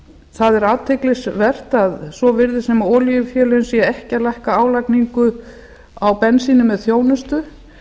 það er athyglisvert að svo virðist sem olíufélögin séu ekki að lækka álagningu á bensíni með þjónustu